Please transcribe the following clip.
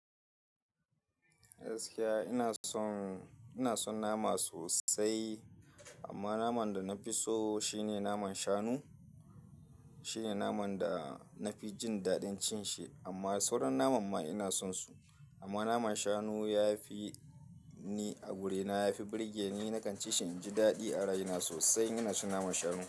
Gaskiya ina son, ina son nama sosai amma naman da na fi so shine naman shanu. Shi ne naman da na fi jin daɗin cin shi amma sauran naman ma ina son su. Amma naman shanu ya fi ni a guri, na ya fi burge ni. Nakan ci shi in ji daɗi a rai na sosai. Ina cin naman shanu.